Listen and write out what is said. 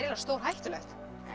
stórhættulegt